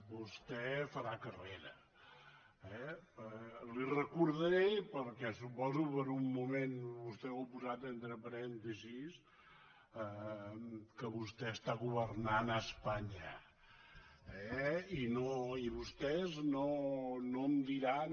vostè farà carrera eh li recordaré perquè suposo que per un moment vostè ho ha posat entre parèntesis que vostè està governant a espanya eh i vostès no em diran